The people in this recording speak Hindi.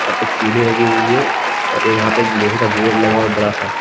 यहां पे एक सीढ़ी लगी हुई है और एक यहां पे एक लोहे का गेट लगा हुआ है बड़ा सा।